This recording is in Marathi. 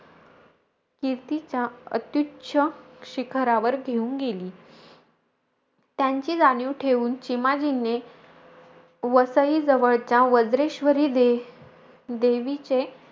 कीर्तीच्या अत्युच्च शिखरावर घेऊन गेली. त्यांची जाणीव ठेवून, चिमाजीने वसईजवळच्या वज्रेश्वरी दे देवीचे,